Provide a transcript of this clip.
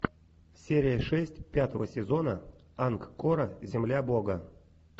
серия шесть пятого сезона ангкора земля бога